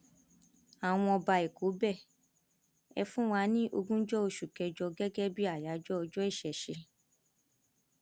àwọn ọba ẹkọ bẹ ẹ fún wa ní ogúnjọ oṣù kẹjọ gẹgẹ bíi àyájọ ọjọ ìṣẹṣẹ